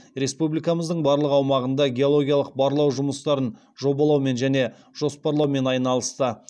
республикамыздың барлық аумағында геологиялық барлау жұмыстарын жобалаумен және жоспарлаумен айналысты